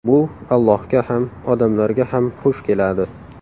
Bu Allohga ham, odamlarga ham xush keladi.